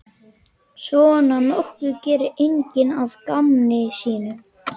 Svona nokkuð gerir enginn að gamni sínu.